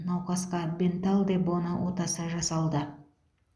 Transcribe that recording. науқасқа бенталл де боно отасы жасалды